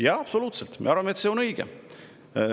Jaa, absoluutselt, me arvame, et nii on õige.